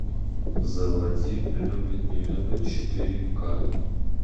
заводи любит не любит четыре ка